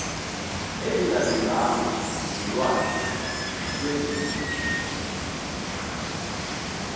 ezingalunganga zolwazi lwezempilo